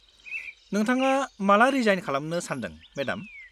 नोंथाङा माला रिजाइन खालामनो सान्दों, मेडाम?